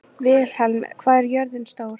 Vilhelm, hvað er jörðin stór?